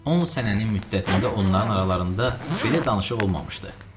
On sənənin müddətində onların aralarında belə danışıq olmamışdı.